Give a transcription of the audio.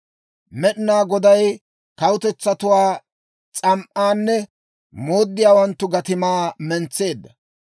Med'inaa Goday Kawutetsatuwaa s'am"aanne mooddiyaawanttu gatimaa mentseedda.